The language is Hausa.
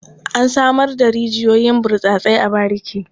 An samar da rijiyoyin burtsatse a bariki.